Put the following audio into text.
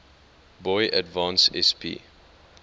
boy advance sp